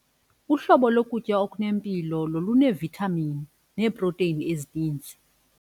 Uhlobo lokutya okunempilo ngoluneevithamini neeprotheyini ezininzi.